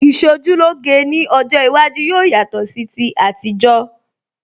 Ìṣojúlóge ní ọjọ́ iwájú yóò yatọ̀ sí ti àtijọ́